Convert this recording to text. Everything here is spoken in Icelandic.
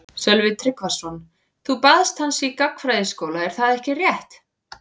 Sölvi Tryggvason: Þú baðst hans í gagnfræðaskóla er það ekki rétt?